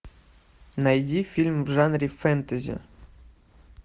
найди фильм в жанре фэнтези